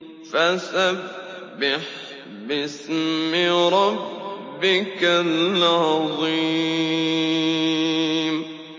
فَسَبِّحْ بِاسْمِ رَبِّكَ الْعَظِيمِ